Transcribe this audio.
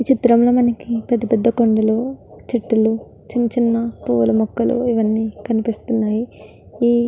ఈ చిత్రం లో మనకి పెద్ద పెద్ద కొండలు చెట్టులు చిన్న చిన్న పూల మొక్కలు ఇవన్నీ కనిపిస్తునాయి. ఈ --